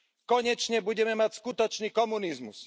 Konečne budeme mať skutočný komunizmus.